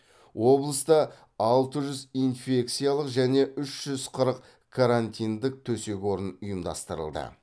облыста алты жүз инфекциялық және үш жүз қырық карантиндік төсек орын ұйымдастырылды